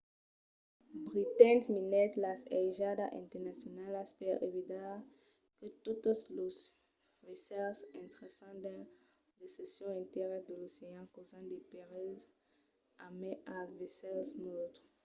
britain minèt las aigas internacionalas per evitar que totes los vaissèls intrèssen dins de seccions entièras de l’ocean causant de perilhs a mai als vaissèls neutres